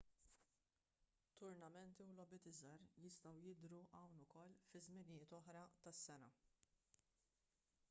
turnamenti u logħbiet iżgħar jistgħu jidhru hawn ukoll fi żminijiet oħra tas-sena